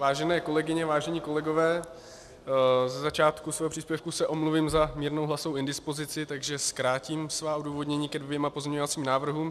Vážené kolegyně, vážení kolegové, ze začátku svého příspěvku se omluvím za mírnou hlasovou indispozici, takže zkrátím svá odůvodnění ke dvěma pozměňovacím návrhům.